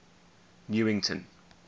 newington